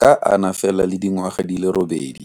ka a na fela le dingwaga di le robedi.